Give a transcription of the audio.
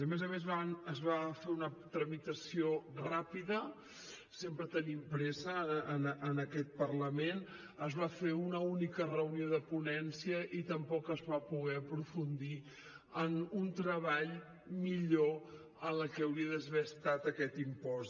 a més a més es va fer una tramitació ràpida sempre tenim pressa en aquest parlament es va fer una única reunió de ponència i tampoc es va poder aprofundir en un treball millor en el que hauria d’haver estat aquest impost